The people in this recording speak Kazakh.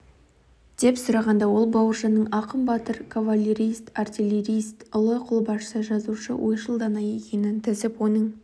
деп сұрағанда ол бауыржанның ақын батыр кавалерист артиллерист ұлы қолбасшы жазушы ойшыл дана екенін тізіп оның